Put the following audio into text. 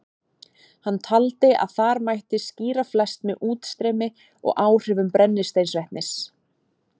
Hann taldi að þar mætti skýra flest með útstreymi og áhrifum brennisteinsvetnis.